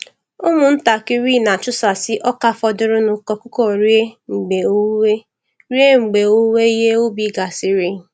Ụmụntakịrị na-achụsasị ọka fọdụrụnụ ka ọkụkọ rie mgbe owuwe rie mgbe owuwe ihe ubi gasịrị.